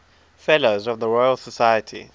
fellows of the royal society